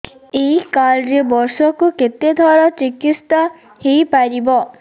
ଏଇ କାର୍ଡ ରେ ବର୍ଷକୁ କେତେ ଥର ଚିକିତ୍ସା ହେଇପାରିବ